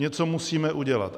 Něco musíme udělat.